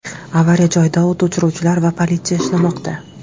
Avariya joyida o‘t o‘chiruvchilar va politsiya ishlamoqda.